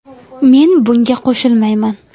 Men bunga qo‘shilolmayman.